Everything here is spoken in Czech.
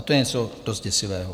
A to je něco dost děsivého.